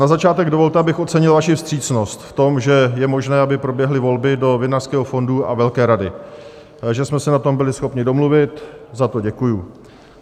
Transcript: Na začátek dovolte, abych ocenil vaši vstřícnost v tom, že je možné, aby proběhly volby do Vinařského fondu a velké Rady, že jsme se na tom byli schopni domluvit, za to děkuji.